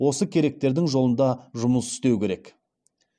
осы керектердің жолында жұмыс істеу керек